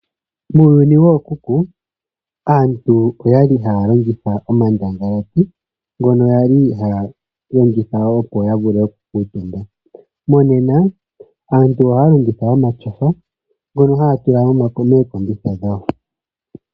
Muuyuni wookuku aantu oyali haya longitha omandangalati ngono yali haya longitha opo ya vule oku kuutumba. Monena aantu ohaa longitha omatyofa ngono haa tula mookombitha dhawo.